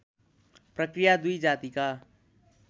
प्रकृया दुई जातिका